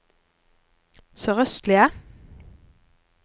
sørøstlige